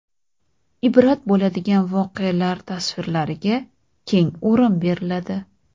ibrat bo‘ladigan voqealar tasvirlariga keng o‘rin beriladi.